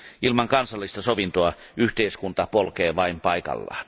Ilman kansallista sovintoa yhteiskunta polkee vain paikallaan.